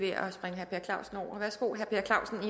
herre per clausen